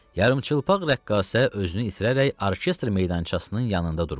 Yarımçıplaq rəqqasə özünü itirərək orkestr meydançasının yanında durmuşdu.